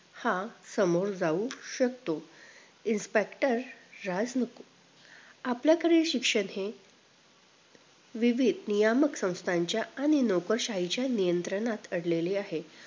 हा समोर जाऊ शकतो inspector राजमुकुट आपल्याकडे शिक्षण हे विध्य नियमसंस्थांच्या आणि लोकशाहीच्या नियंत्रणात अडकलेला आहे